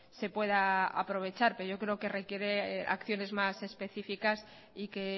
se pueda aprovechar pero yo creo que requiere acciones más específicas y que